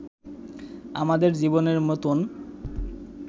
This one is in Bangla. আমাদের জীবনের মতোন